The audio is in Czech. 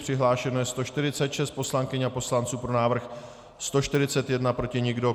Přihlášeno je 146 poslankyň a poslanců, pro návrh 141, proti nikdo.